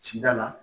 Cida la